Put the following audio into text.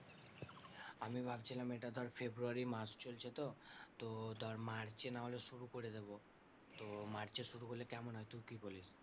আমি ভাবছিলাম এটা ধর ফেব্রুয়ারী মাস চলছে তো তো ধর মার্চে নাহলে শুরু করে দেবো, তো মার্চে শুরু করলে কেমন হয় তুই কি বলিস?